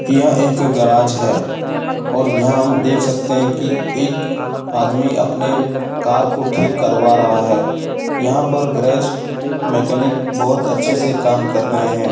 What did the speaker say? यह एक गराज है और यहाँ हम देख सकते हैं की एक आदमी अपने कार को ठीक करवा रहा है। यहाँ पर गैराज मैकेनिक बहुत अच्छे से काम कर रहें हैं।